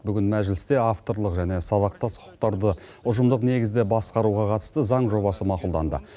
бүгін мәжілісте авторлық және сабақтас құқықтарды ұжымдық негізде басқаруға қатысты заң жобасы мақұлданды